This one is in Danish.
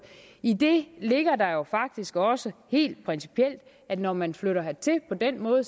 i det ligger der jo faktisk også helt principielt at når man flytter hertil på den måde